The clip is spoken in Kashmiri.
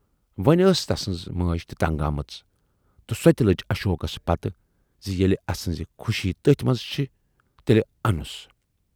وۅنۍ ٲس تسٕنز مٲج تہِ تنگ آمٕژ تہٕ سۅ تہِ لٔج اشوکس پتہٕ زِ ییلہِ اسٕنز خوشی تٔتھۍ منز چھِ تیلہِ انُس۔